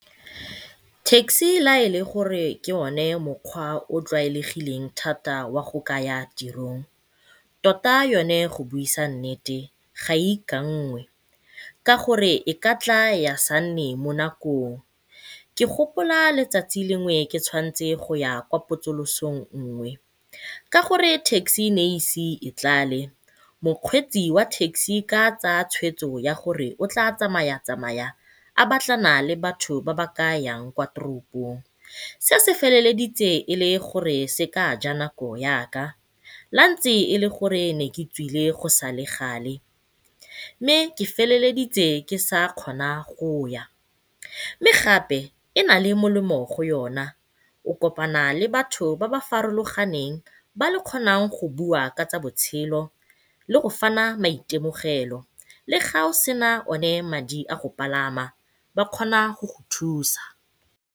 Taxi la e le gore ke yone mokgwa o o tlwaelegileng thata wa go kaya tirong, tota yone go buisa nnete ga e ikanngwe ka gore e ka tla ya se nne mo nakong. Ke gopola letsatsi lengwe ke tshwanetse go ya potsosolong nngwe. Ka gore taxi e ne e ise e tlale mokgweetsi wa taxi ke fa a tsaya tshweetso ya gore o tla tsamaya tsamaya a batlana batho ba ba ka yang kwa toropong se se feleleditse e le gore se ka ja nako yaka la ntse e le gore ne ke tswile go sale gale. Mme ke feleleditse ke sa kgona go ya, mme gape e nale molemo go yona o kopana le batho ba ba farologaneng ba le kgonang go bua ka tsa botshelo le go fana maitemogelo le fa o sena madi a go pagama ba kgona go go thusa.